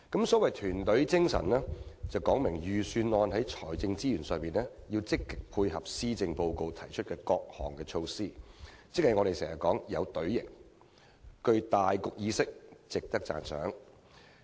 所謂團隊精神是指預算案在財政資源上，積極配合施政報告提出的各項措施，即是我們常說的"有隊形"，具大局意識，值得讚賞。